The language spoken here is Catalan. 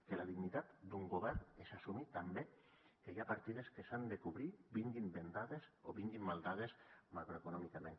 que la dignitat d’un govern és assumir també que hi ha partides que s’han de cobrir vinguin bendades o vinguin maldades macroeconòmicament